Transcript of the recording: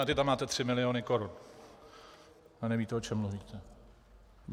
Na to tam máte 3 miliony korun a nevíte, o čem mluvíte.